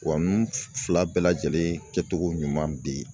Wa n fila bɛɛ lajɛlen kɛcogo ɲuman bɛ yen